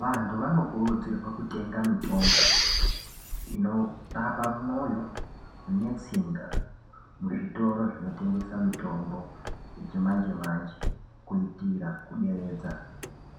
Vantu vanokurudzirwa kutenga mitombo inorapa mwoyo netsinga muzvitoro zvinotengesa mitombo yechimanje manje kuitira kuderedza